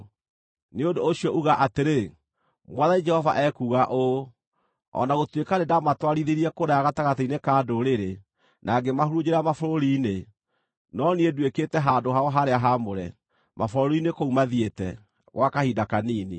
“Nĩ ũndũ ũcio uga atĩrĩ: ‘Mwathani Jehova ekuuga ũũ: O na gũtuĩka nĩndamatwarithirie kũraya gatagatĩ-inĩ ka ndũrĩrĩ, na ngĩmahurunjĩra mabũrũri-inĩ, no niĩ nduĩkĩte handũ-hao-harĩa-haamũre, mabũrũri-inĩ kũu mathiĩte, gwa kahinda kanini.’